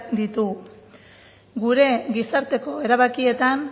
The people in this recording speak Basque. ditugu gure gizarteko erabakietan